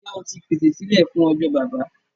Njẹ́ o ti pèsè sílé fún ọjọ́ Baba?